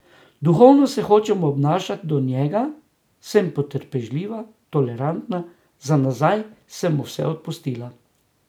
Duhovno se hočem obnašati do njega, sem potrpežljiva, tolerantna, za nazaj sem mu vse odpustila.